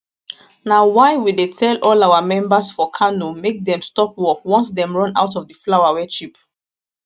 na why we dey tell all our members for kano make dem stop work once dem run out of di flour wey cheap